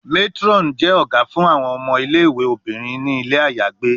Matron jẹ fun awọn omo Ile-iwe. obinrin ni ile ayagbe